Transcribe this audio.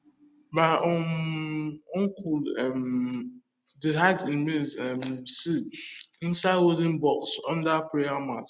my um uncle um dey hide e maize um seed inside wooden box under prayer mat